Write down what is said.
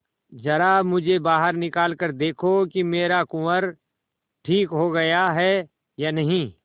जरा मुझे बाहर निकाल कर देखो कि मेरा कुंवर ठीक हो गया है या नहीं